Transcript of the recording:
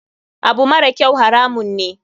Abu marakyau haramun ne.